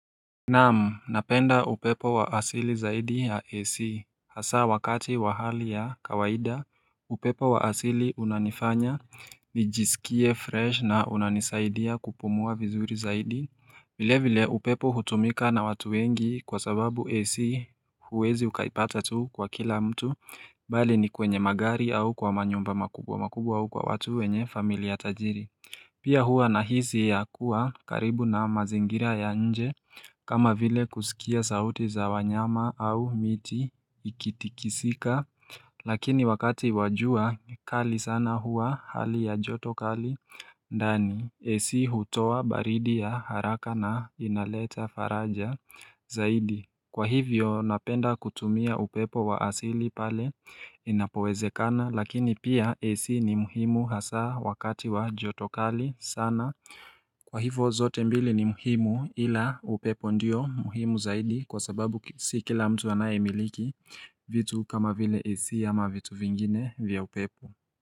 Nam, napenda upepo wa asili zaidi ya AC Hasa wakati wa hali ya kawaida, upepo wa asili unanifanya nijisikie fresh na unanisaidia kupumua vizuri zaidi vile vile upepo hutumika na watu wengi kwa sababu AC huwezi ukaipata tu kwa kila mtu Bali ni kwenye magari au kwa manyumba makubwa makubwa au kwa watu wenye familia tajiri Pia huwa na hisi ya kuwa karibu na mazingira ya nje kama vile kusikia sauti za wanyama au miti ikitikisika Lakini wakati wa jua ni kali sana hua hali ya joto kali ndani Ac hutoa baridi ya haraka na inaleta faraja zaidi Kwa hivyo napenda kutumia upepo wa asili pale inapowezekana Lakini pia Ac ni muhimu hasa wakati wa jotokali sana Kwa hivo zote mbili ni muhimu ila upepo ndiyo muhimu zaidi kwa sababu si kila mtu anayei miliki vitu kama vile AC ama vitu vingine vya upepo.